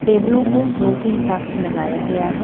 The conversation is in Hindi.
टेबलों को रो के हिसाब से लगाया गया ह।